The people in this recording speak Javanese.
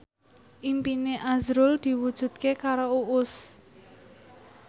impine azrul diwujudke karo Uus